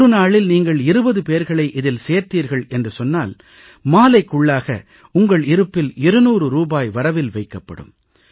ஒரு நாளில் நீங்கள் 20 பேர்களை இதில் சேர்த்தீர்கள் என்று சொன்னால் மாலைக்குள்ளாக உங்கள் இருப்பில் 200 ரூபாய் வரவில் வைக்கப்படும்